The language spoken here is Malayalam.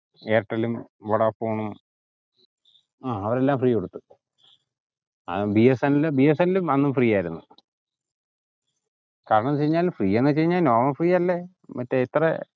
എയർടെൽലും വൊഡാഫോണും ആഹ് അവരെല്ലാം free കൊടുത്തു അഹ് B S N L B S N L അന്നും free ആയിരുന്നു കാരണന്തെന്ന് ച് യിഞ്ഞാൽ free ന്ന് ച് കയിഞ്ഞാൽ normal free അല്ലേ മറ്റേ ഇത്രേ